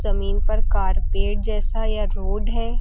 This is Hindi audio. जमीन पर कारपेट जैसा या रोड है।